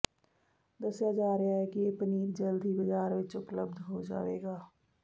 ਦੱਸਿਆ ਜਾ ਰਿਹਾ ਹੈ ਕਿ ਇਹ ਪਨੀਰ ਜਲਦ ਹੀ ਬਾਜ਼ਾਰ ਵਿੱਚ ਉਪਲੱਬਧ ਹੋ ਜਾਵੇਗਾ